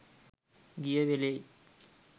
ගිය වෙලෙයි.